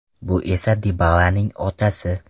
Bu esa Dibalaning otasi.